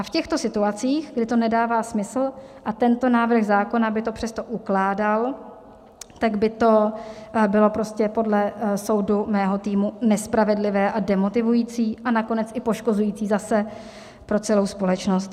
A v těchto situacích, kdy to nedává smysl, a tento návrh zákona by to přesto ukládal, tak by to bylo prostě podle soudu mého týmu nespravedlivé a demotivující a nakonec i poškozující zase pro celou společnost.